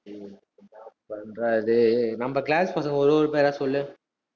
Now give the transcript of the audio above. டேய் என்னா பண்றது நம்ம class பசங்க ஒரு ஒரு பேரா சொல்லு